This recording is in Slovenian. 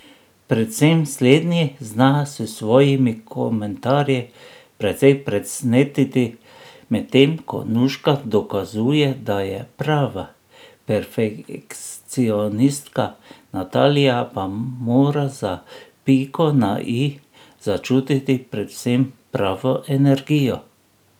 Predvsem slednji zna s svojimi komentarji precej presnetiti, medtem ko Nuška dokazuje, da je prava perfekcionistka, Natalija pa mora za piko na i začutiti predvsem pravo energijo.